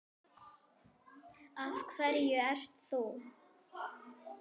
Af hverju ert þú.